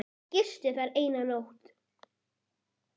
Gisti þar eina nótt.